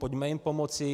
Pojďme jim pomoci.